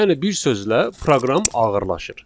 Yəni bir sözlə proqram ağırlaşır.